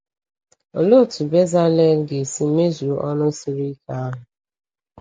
Olee otú Bẹzalel ga-esi mezuo ọrụ siri ike ahụ?